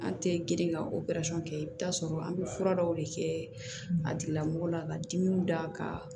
An tɛ girin ka operesɔn kɛ i bɛ t'a sɔrɔ an bɛ fura dɔw de kɛ a tigilamɔgɔ la ka dimiw da ka